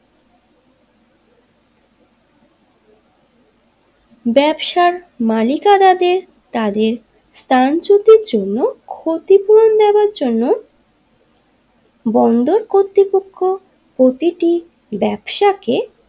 ব্যবসার মালিকানাদের তাদের স্থানচ্যুতির জন্য ক্ষতিপূরণ দেবার জন্য বন্দর কর্তৃপক্ষ প্রতিটি ব্যবসাকে।